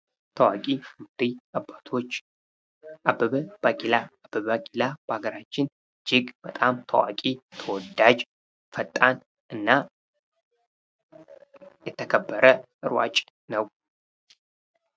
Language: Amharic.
ታዋቂ መሪ አባቶች አበበ ቢቂላ። አበበ ቢቂላ በሀገራችን እጅግ በጣም ታዋቂ ፣ተወዳጅ ፣ፈጣን እና የተከበረ ሯጭ ነው።